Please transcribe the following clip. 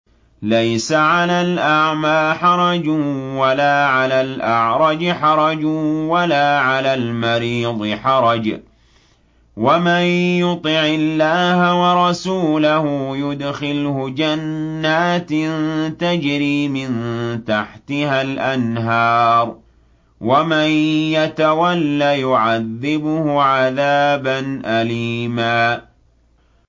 لَّيْسَ عَلَى الْأَعْمَىٰ حَرَجٌ وَلَا عَلَى الْأَعْرَجِ حَرَجٌ وَلَا عَلَى الْمَرِيضِ حَرَجٌ ۗ وَمَن يُطِعِ اللَّهَ وَرَسُولَهُ يُدْخِلْهُ جَنَّاتٍ تَجْرِي مِن تَحْتِهَا الْأَنْهَارُ ۖ وَمَن يَتَوَلَّ يُعَذِّبْهُ عَذَابًا أَلِيمًا